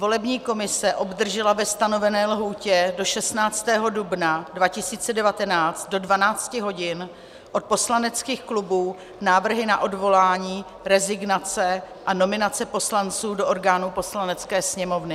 Volební komise obdržela ve stanovené lhůtě do 16. dubna 2019 do 12 hodin od poslaneckých klubů návrhy na odvolání, rezignace a nominace poslanců do orgánů Poslanecké sněmovny.